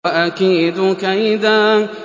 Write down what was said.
وَأَكِيدُ كَيْدًا